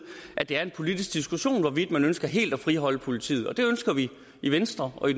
at det er en politisk diskussion hvorvidt man ønsker helt at friholde politiet det ønsker vi i venstre og i